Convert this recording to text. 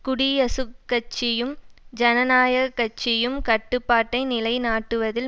குடியசுக்கட்சியும் ஜனநாயக்கட்சியும் கட்டுப்பாட்டை நிலைநாட்டுவதில்